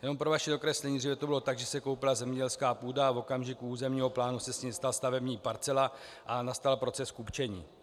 Jen pro vaše dokreslení, dříve to bylo tak, že se koupila zemědělská půda a v okamžiku územního plánu se z ní stala stavební parcela a nastal proces kupčení.